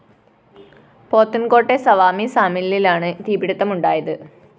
പോത്തന്‍കോട്ടെ സവാമി സാമില്ലിലാണ് തീപിടുത്തമുണ്ടായത്